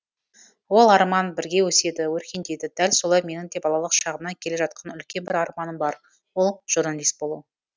ол арман бірге өседі өркендейді дәл солай менің де балалық шағымнан келе жатқан үлкен бір арманым бар ол журналист болу